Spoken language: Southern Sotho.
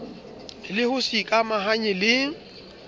le ho se ikamahanye le